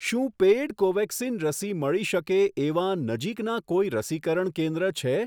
શું પેઈડ કોવેક્સિન રસી મળી શકે એવાં નજીકના કોઈ રસીકરણ કેન્દ્ર છે?